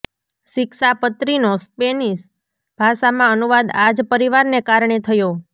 શિક્ષાપત્રીનો Spanish ભાષામાં અનુવાદ આ જ પરિવારને કારણે થયો